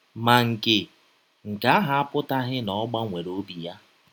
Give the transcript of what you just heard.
Ma, nke, nke ahụ apụtaghị na ọ gbanwere ọbi ya.